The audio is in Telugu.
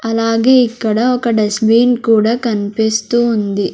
అలాగే ఇక్కడ ఒక డస్ బిన్ కూడా కనిపిస్తూ ఉంది.